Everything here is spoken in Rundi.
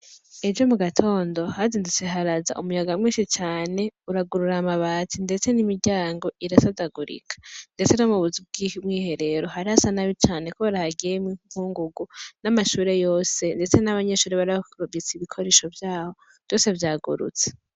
Ejo mu gatondo hazindutse haraza umuyaga mwinshi cane uragurura amabati, ndetse n'imiryango irasadagurika, ndetse no mu buzu bwumwiherero hari hasa nabi cane, kubera hagiyemwo inkungugu n'amashure yose, ndetse n'abanyeshure bari bafise ibikoresho vyabo vyose vyagurutse.